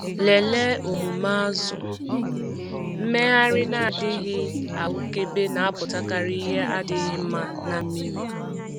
Lelee omume azụ - mmegharị na-adịghị ahụkebe na-apụtakarị ihe adịghị mma na mmiri.